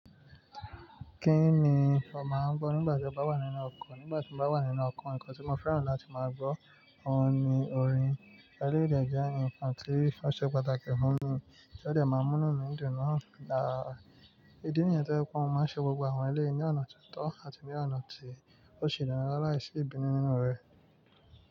Kí ni ìwọ́ máa ń gbọ́ nígbà tí ó bá wà nínú ọkọ̀? Nígbà tí mo bá wà nínú ọkọ̀, nǹkan tí mo fẹ́ràn láti máa gbọ́ òhun ni orin. Eléyìí lè jẹ́ ǹkan tí ó ṣe pàtàkì fún mi, kí ó lè máa mú inú mi dùn náà, à ìdí nìyẹn tó jẹ́ pé wọ́n máa ń ṣe gbogbo àwọn eléyìí ọ̀nà tuntun àti ní ọ̀nà tí ó ṣe ìdáná láìsí ìbínú nínú rẹ̀.